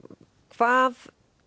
hvað